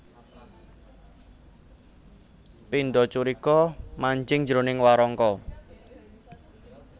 Pindha curiga manjing jroning warangka